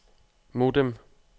modem